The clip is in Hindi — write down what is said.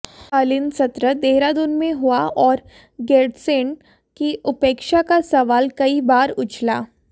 शीतकालीन सत्र देहरादून में हुआ और गैरसैंण की उपेक्षा का सवाल कई बार उछला